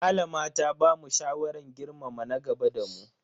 Malama ta bamu shawaran girmama na gaba da mu.